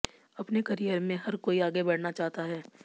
अपने करियर में हर कोई आगे बढ़ना चाहता है